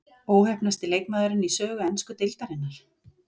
Óheppnasti leikmaðurinn í sögu ensku deildarinnar?